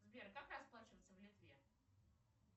сбер как расплачиваться в литве